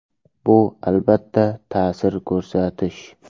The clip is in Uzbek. Bu albatta ta’sir ko‘rsatish!